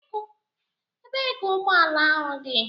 Ebee ka ụgbọ ala ahụ dị?